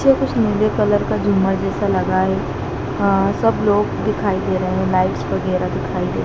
तो कुछ नीले कलर का झूमर जैसा लगा है अह सब लोग दिखाई दे रहे हैं लाइट्स वगैरा दिखाई दे--